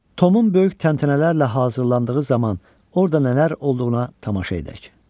Tomun böyük təntənələrlə hazırlandığı zaman orda nələr olduğuna tamaşa edək.